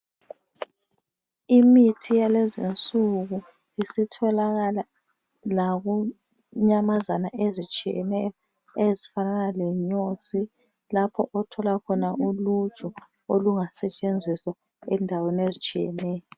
Imithi yalezinsuku isitholakala lakunyamazana ezitshiyeneyo ezifanana lenyosi, lapho othola khona uluju olungasetshenziswa endaweni ezitshiyeneyo.